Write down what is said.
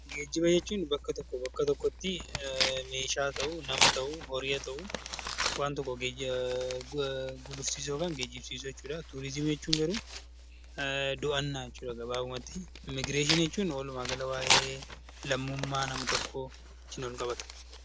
Geejjiba jechuun bakka tokkoo bakka tokkotti meeshaa haa ta'uu, nama haa ta'uu, horii haa ta'uu waan tokko gulufsiisuu yookaan geejibsiisuu jechuu dha. Turiizimii jechuun garuu do'annaa jechuu dha gabaabumatti. Immigireeshinii jechuun walumaagala waa'ee lammummaa nam-tokkoo wajjin wal qabata.